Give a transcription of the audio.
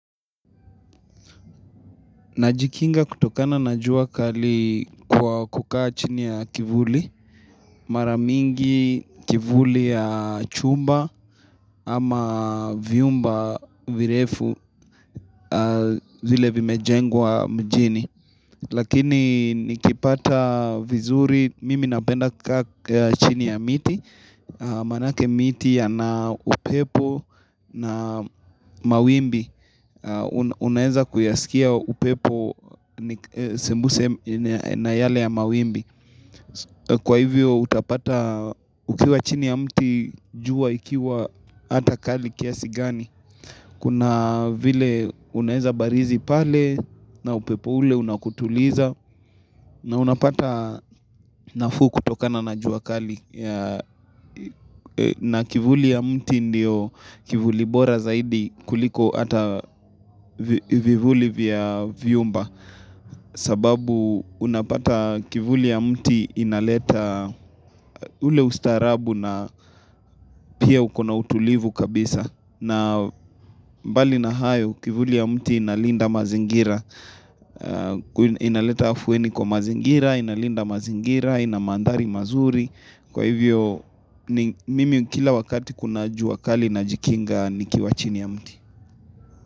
Najikinga kutokana na jua kali kwa kukaa chini ya kivuli, mara mingi kivuli ya chumba ama vyumba virefu vile vimejengwa mjini. Lakini nikipata vizuri, mimi napenda kukaa chini ya miti, maanake miti yana upepo na mawimbi. Unaweza kuyasikia upepo sembuse na yale ya mawimbi. Kwa hivyo utapata ukiwa chini ya mti jua ikiwa hata kali kiasi gani Kuna vile unaweza barizi pale na upepo ule unakutuliza na unapata nafuu kutokana na jua kali na kivuli ya mti ndio kivuli bora zaidi kuliko hata vivuli vya vyumba sababu unapata kivuli ya mti inaleta ule ustaarabu na pia ukona utulivu kabisa. Na mbali na hayo kivuli ya mti inalinda mazingira Inaleta afueni kwa mazingira, inalinda mazingira, ina mandhari mazuri. Kwa hivyo, mimi kila wakati kuna jua kali najikinga nikiwa chini ya mti.